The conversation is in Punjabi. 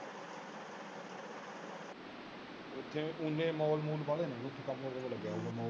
ਉਂਜ ਇਹ ਮੂਲ ਬਾਲੇ ਨੇ ਓਥੇ ਕੰਮ ਕਰਨ ਲਗਿਆ ਹੋਏਗਾ।